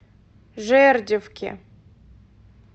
жердевке